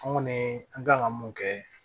An kɔni an kan ka mun kɛ